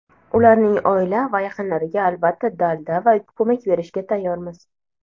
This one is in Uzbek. Ularning oila va yaqinlariga albatta dalda va ko‘mak berishga tayyormiz.